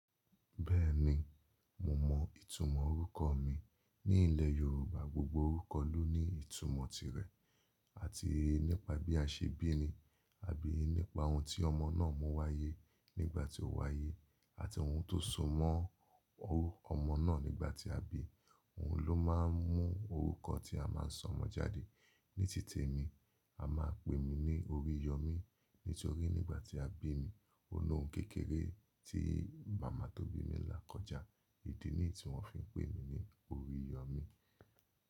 Bẹ́ẹ̀ni, mo mọ ìtumọ̀ orúkọ mi. Ní ilẹ̀ Yorùbá, gbogbo orúkọ ló ní ìtumọ̀ tirẹ̀, àti nípa bí a ṣe bíni, àbí nípa ohun tí ọmọ náà mú wáyé nígbà tí ó wáyé, àti ohun tó so mọ́ ọmọ náà nígbà tí a bí i. Ohun ló máa ń mú orúkọ tí a máa ń sọ ọmọ jáde. Ní títì èmi, a máa pè mí ní Oríyọmí nítorí nígbà tí a bí mi, ó lóhun kékeré tí màmá tó bí mi là kọjá. Ìdí nì í tí wọ́n fi ń pè mí ní Oríyọmí.